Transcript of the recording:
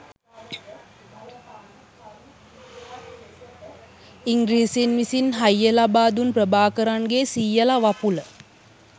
ඉංග්‍රීසීන් විසින් හයිය ලබා දුන් ප්‍රභාකරන්ගේ සීයලා වපුල